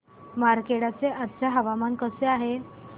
मार्कंडा चे आजचे हवामान कसे आहे